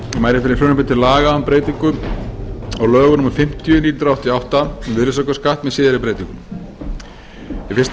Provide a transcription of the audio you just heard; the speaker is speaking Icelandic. mæli fyrir frumvarpi til laga um breyting á lögum númer fimmtíu nítján hundruð áttatíu og átta um virðisaukaskatt með síðari breytingum í fyrsta lagi